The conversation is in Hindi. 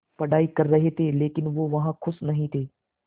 पढ़ाई कर रहे थे लेकिन वो वहां ख़ुश नहीं थे